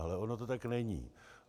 Ale ono to tak není.